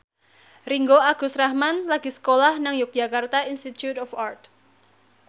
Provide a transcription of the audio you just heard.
Ringgo Agus Rahman lagi sekolah nang Yogyakarta Institute of Art